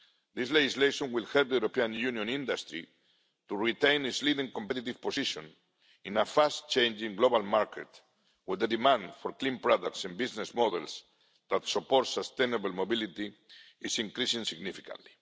this legislation will help European Union industry to retain its leading competitive position in a fast changing global market with a demand for clean products and business models that support sustainable mobility and is increasingly significant.